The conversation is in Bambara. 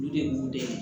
Olu de b'u dɛmɛ